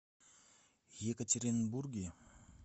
екатеринбурге